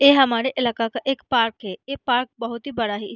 ए हमारे इलाका का एक पार्क है। ए पार्क बहुत ही बड़ा है।